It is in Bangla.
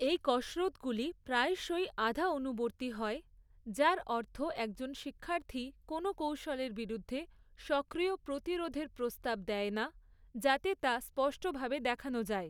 এই কসরৎগুলি প্রায়শই আধা অনুবর্তী হয়, যার অর্থ একজন শিক্ষার্থী কোনও কৌশলের বিরুদ্ধে সক্রিয় প্রতিরোধের প্রস্তাব দেয় না, যাতে তা স্পষ্টভাবে দেখানো যায়।